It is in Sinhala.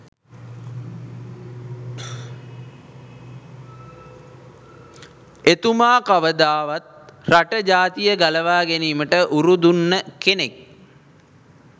එතුමා කවදාවත් රට ජාතිය ගලවා ගැනීමට උරදුන්න කෙනෙක්